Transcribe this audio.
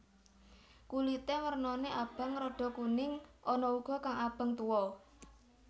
Kulité wernané abang rada kuning ana uga kang abang tuwa